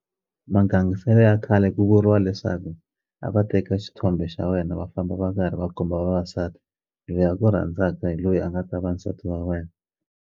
Magangisele ya khale ku vuriwa leswaku a va teka xithombe xa wena va famba va karhi va komba vavasati loyi a ku rhandzaka hi loyi a nga ta va nsati wa wena.